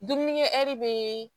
Dumunikɛri be